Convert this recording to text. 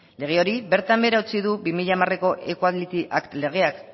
lege hori bertan behera utzi du bi mila hamarko equality act legeak